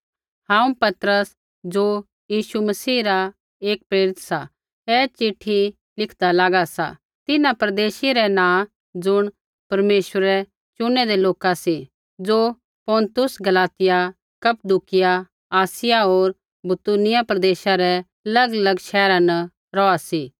हांऊँ पतरस ज़ो यीशु मसीह रा एक प्रेरित सा ऐ चिट्ठी लिखदा लागा सा तिन्हां परदेशी रै नाँ ज़ुण परमेश्वरै चुनैदै लोका सी ज़ो पुन्तुस गलातिया कप्पदुकिया आसिया होर बितूनिया प्रदेशा रै अलगअलग शैहरा न रौहा सी